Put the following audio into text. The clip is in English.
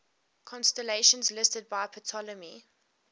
constellations listed by ptolemy